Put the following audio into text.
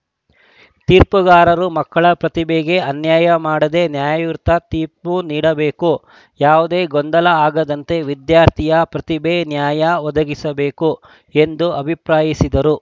ತೀರ್ಪುಗಾರರು ಮಕ್ಕಳ ಪ್ರತಿಭೆಗೆ ಅನ್ಯಾಯ ಮಾಡದೆ ನ್ಯಾಯಯುತ ತೀರ್ಪು ನೀಡಬೇಕು ಯಾವುದೇ ಗೊಂದಲ ಆಗದಂತೆ ವಿದ್ಯಾರ್ಥಿಯ ಪ್ರತಿಭೆ ನ್ಯಾಯ ಒದಗಿಸಬೇಕು ಎಂದು ಅಭಿಪ್ರಾಯಿಸಿದರು